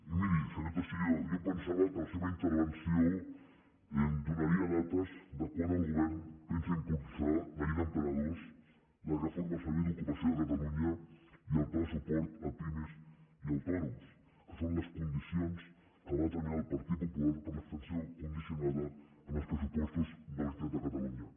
i miri senyor teixidó jo em pensava que la seva intervenció donaria dates de quan el govern pensa impulsar la llei d’emprenedors la reforma del servei d’ocupació de catalunya i el pla de suport a pimes i autònoms que són les condicions que va determinar el partit popular per a l’abstenció condicionada en els pressupostos de la generalitat de catalunya